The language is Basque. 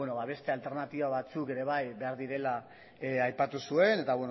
beste alternatiba batzuk ere bai behar direla aipatu zuen eta